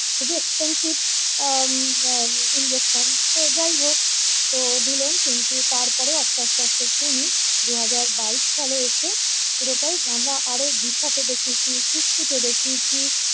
খুবই expensive আহ injection তো যায় হোক তো দিলেন কিন্তু তারপরেও আস্তে আস্তে উনি দু হাজার বাইশ সালে এসে পুরোটাই আমরা আরও বিশাতে দেখিয়েছি সুঁচ সুঁচে দেখিয়েছি।